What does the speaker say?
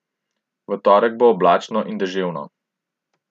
V torek bo oblačno in deževno.